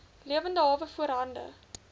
lewende hawe voorhande